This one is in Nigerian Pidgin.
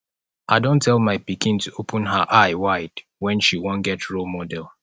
i don tell my pikin to open her eye wide wen she wan get role model